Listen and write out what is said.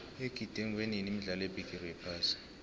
igidingwenini imidlalo yebigiri yephasi